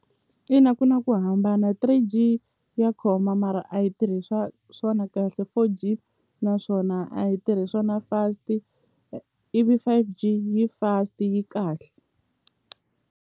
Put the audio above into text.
Ina ku na ku hambana three G ya khoma mara a yi tirhi swona kahle four G naswona a yi tirhi swona fast ivi five G yi fast yi kahle.